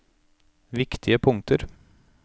viktige punkter